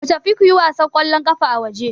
Ku tafi kuyi wasan ƙwallon ƙafa a waje.